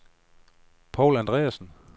Paul Andreasen